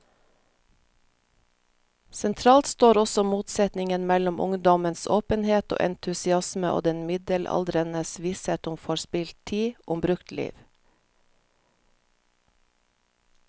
Sentralt står også motsetningen mellom ungdommens åpenhet og entusiasme og den middelaldrendes visshet om forspilt tid, om brukt liv.